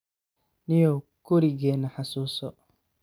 Nio kurigena hasuso.